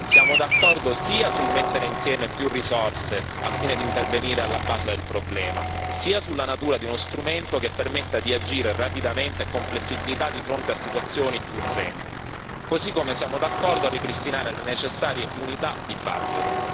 siamo d'accordo sia sul mettere insieme più risorse al fine di intervenire alla base del problema sia sulla natura di uno strumento che permetta di agire rapidamente con flessibilità di fronte a situazioni urgenti, così come siamo d'accordo a ripristinare le necessarie unità di budget